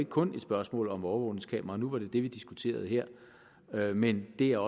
kun er et spørgsmål om overvågningskameraer nu var det det vi diskuterede her her men det er